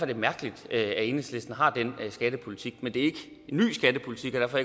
det mærkeligt at enhedslisten har den skattepolitik men det er ikke en ny skattepolitik og derfor